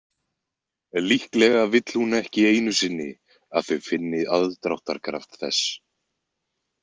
Líklega vill hún ekki einu sinni að þau finni aðdráttarkraft þess.